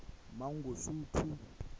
mangosuthu